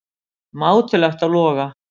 Mátulegt á Loga